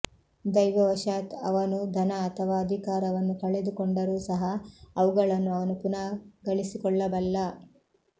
ದೈವವಶಾತ್ ಅವನು ಧನ ಅಥವಾ ಅಧಿಕಾರವನ್ನು ಕಳೆದುಕೊಂಡರೂ ಸಹ ಅವುಗಳನ್ನು ಅವನು ಪುನಃ ಗಳಿಸಿಕೊಳ್ಳಬಲ್ಲ